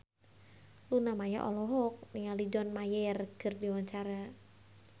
Luna Maya olohok ningali John Mayer keur diwawancara